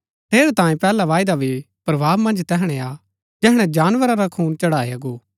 ठेरैतांये पैहला वायदा भी प्रभाव मन्ज तैहणै आ जैहणै जानवरा रा खून चढ़ाया गो